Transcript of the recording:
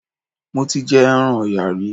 Mo ti jẹ ẹran Ọ̀yà rí.